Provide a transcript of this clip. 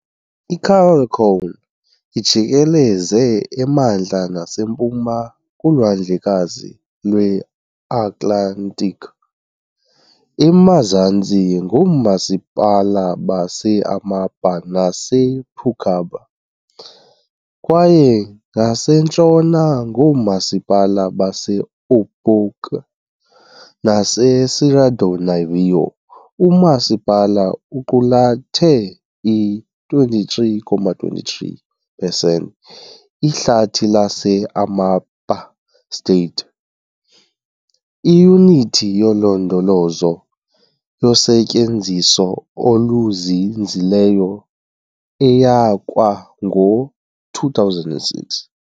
ICalçoene ijikeleze emantla nasempuma kuLwandlekazi lweAtlantiki, emazantsi ngoomasipala base Amapá nasePracuúba, kwaye ngasentshona ngoomasipala baseOiapoque naseSerra do Navio. Umasipala uqulathe i-23.23 pesenti Ihlathi lase-Amapá State, iyunithi yolondolozo yosetyenziso oluzinzileyo eyasekwa ngo-2006.